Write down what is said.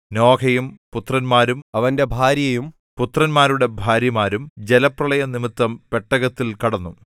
നോഹയും പുത്രന്മാരും അവന്റെ ഭാര്യയും പുത്രന്മാരുടെ ഭാര്യമാരും ജലപ്രളയം നിമിത്തം പെട്ടകത്തിൽ കടന്നു